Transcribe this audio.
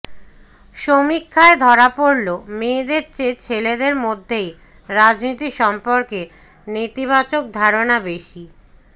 সমীক্ষায় ধরা পড়ল মেয়েদের চেয়ে ছেলেদের মধ্যেই রাজনীতি সম্পর্কে নেতিবাচক ধারণা বেশি